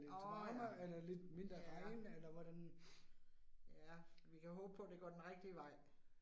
Åh ja. Ja. Ja Vi kan håbe på, det går den rigtige vej